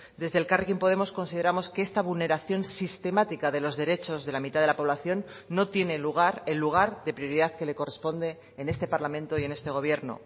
desde elkarrekin podemos consideramos que esta vulneración sistemática de los derechos de la mitad de la población no tiene lugar el lugar de prioridad que le corresponde en este parlamento y en este gobierno